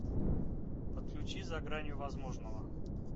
подключи за гранью возможного